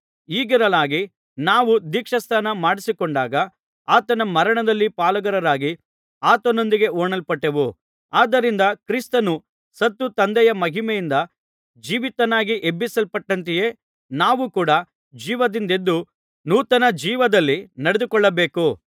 ಹೀಗಿರಲಾಗಿ ನಾವು ದೀಕ್ಷಾಸ್ನಾನ ಮಾಡಿಸಿಕೊಂಡಾಗ ಆತನ ಮರಣದಲ್ಲಿ ಪಾಲುಗಾರರಾಗಿ ಆತನೊಂದಿಗೆ ಹೂಣಲ್ಪಟ್ಟೆವು ಆದ್ದರಿಂದ ಕ್ರಿಸ್ತನು ಸತ್ತು ತಂದೆಯ ಮಹಿಮೆಯಿಂದ ಜೀವಿತನಾಗಿ ಎಬ್ಬಿಸಲ್ಪಟ್ಟಂತೆಯೇ ನಾವು ಕೂಡ ಜೀವದಿಂದೆದ್ದು ನೂತನ ಜೀವದಲ್ಲಿ ನಡೆದುಕೊಳ್ಳಬೇಕು